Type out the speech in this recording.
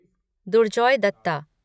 Durjoy Dutta